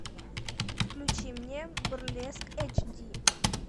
включи мне бурлеск эйч ди